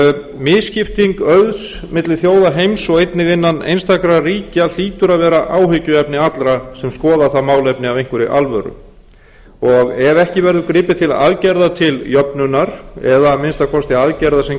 misskipting auðs milli þjóða heims og einnig innan einstakra ríkja hlýtur að vera áhyggjuefni allra sem skoða það málefni af einhverri alvöru ef ekki verður gripið til aðgerða til jöfnunar eða að minnsta kosti aðgerða sem